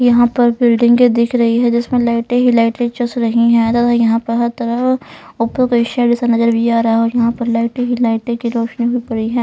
यहां पर बिल्डिंग दिख रही है जिसमें लाइटें ही लाइट चस रही हैयहां पर हर तरफ ऊपर को साइड ऐसा नजर भी आ रहा है और यहां पर लाइट ही लाइट की रोशनी है.